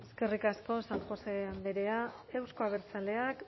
eskerrik asko san josé andrea euzko abertzaleak